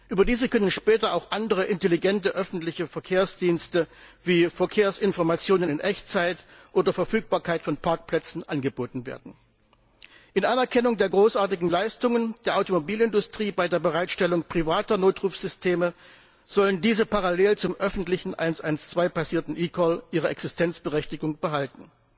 Über diese können später auch andere intelligente öffentliche Verkehrsdienste wie Verkehrsinformationen in Echtzeit oder Verfügbarkeit von Parkplätzen angeboten werden. In Anerkennung der großartigen Leistungen der Automobilindustrie bei der Bereitstellung privater Notrufsysteme sollen diese parallel zum öffentlichen 112 basierten eCall ihre Existenzberechtigung behalten.